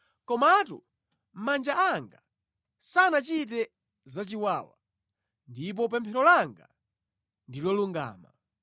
komatu manja anga sanachite zachiwawa ndipo pemphero langa ndi lolungama.